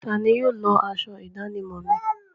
Tani yóò lọ aṣọ ìdánimọ̀ mi?